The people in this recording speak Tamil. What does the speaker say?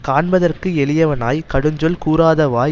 காண்பதற்கு எளியவனாய்க் கடுஞ்சொல் கூறாதவாய்